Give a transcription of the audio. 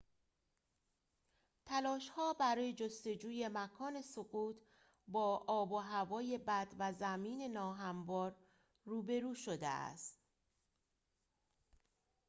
تلاش‌ها برای جستجوی مکان سقوط با آب و هوای بد و زمین ناهموار روبرو شده است